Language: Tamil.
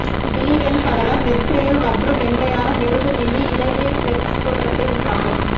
விழி வெண்படலம் நெற்றியில் மற்றும் மென்மையான மெழுகு மீது இழைம பிளெக்ஸ் தோற்றத்தை உண்டாக்கும்